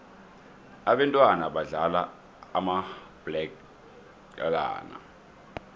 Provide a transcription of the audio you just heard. abentwana badlala umabhaqelana